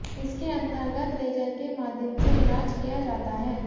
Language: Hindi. इसके अंतर्गत लेजर के माध्यम से इलाज किया जाता है